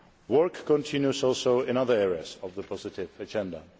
Work continues also in other areas of the positive agenda.